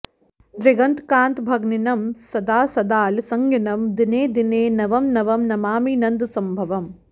दृगन्तकान्तभन्गिनं सदासदालसंगिनं दिने दिने नवं नवं नमामि नन्दसंभवं